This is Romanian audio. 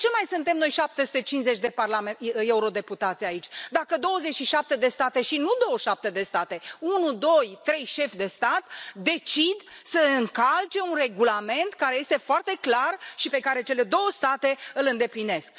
De ce mai suntem noi 750 de eurodeputați aici, dacă 27 de state, și nu 27 de state, ci unu, doi, trei șefi de stat decid să încalce un regulament care este foarte clar și pe care cele două state îl îndeplinesc.